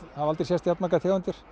hafa aldrei sést jafnmargar tegundir